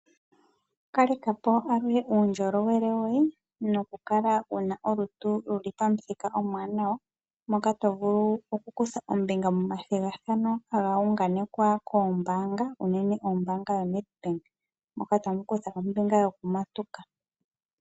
Kaleka po aluhe uundjolowele woye noku kala wuna olutu luli pamuthika omwanawa, moka tovulu oku kutha ombinga momathigathano haga unganekwa koombaanga unene kombaanga yoNedbank moka tamu kutha ombinga yo kumatuka.